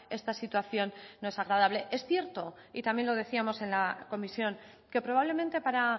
esta situación no es agradable es cierto y también lo decíamos en la comisión que probablemente para